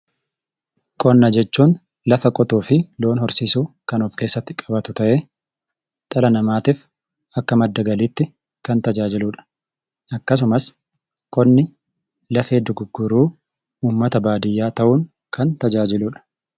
Qonna jechuun lafa qotuu fi loon horsiisuu kan of keessatti qabatu ta'ee, dhala namaatiif akka madda galiitti kan tajaajiludha. Akkasumas, qonni lafee dugugguruu uummata baadiyaa ta'uun kan tajaajiludha.